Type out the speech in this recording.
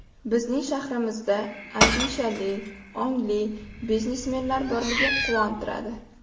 Bizning shahrimizda andishali, ongli biznesmenlar borligi quvontiradi.